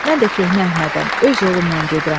Mən də köhnə Əhmədəm, öz yolumdan gedirəm.